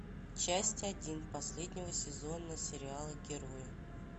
часть один последнего сезона сериала герои